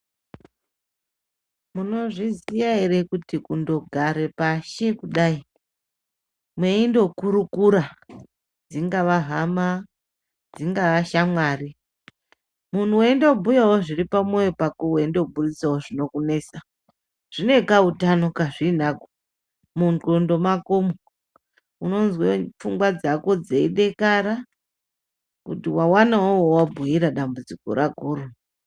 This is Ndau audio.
Munozviziya ere kuti kundogare pashi kudai mweindokurukura dzingava hama dzingava shamwari munhu weindobhuyawo zviri pamwoyo pako weindoburitsawo zvinokunesa zvine kautano kazvinako mungondo mwakomwo unozwe pfungwa dzako dzeidekara kuti wawanawo wawabhuyira dambudziko rakoro